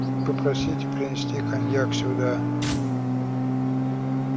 попросите принести коньяк сюда